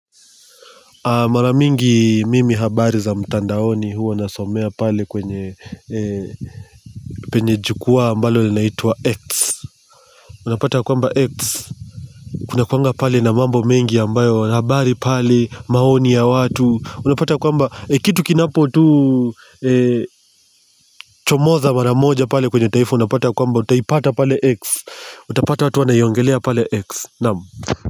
Maramingi mimi habari za mtandaoni huwa na somea pale kwenye penye jukwa ambalo linaitwa X una pata kwamba X, kunakuanga pale na mambo mengi ambayo habari pale maoni ya watu una pata kwamba kitu kinapotuu chomoza maramoja pale kwenye taifu unapata kwamba utaipata pale X, uta pata watu wanaiongelea pale X.